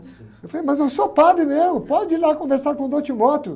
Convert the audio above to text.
Eu falei, mas eu sou padre mesmo, pode ir lá conversar com o Dom.